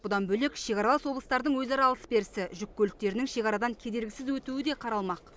бұдан бөлек шекаралас облыстардың өзара алыс берісі жүк көліктерінің шекарадан кедергісіз өтуі де қаралмақ